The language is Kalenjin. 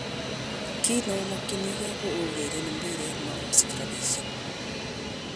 Kit neomokyinige ko aureren mbiret mo osich rapishek.